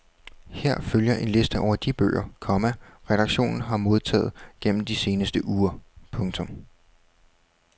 Her følger en liste over de bøger, komma redaktionen har modtaget gennem de seneste uger. punktum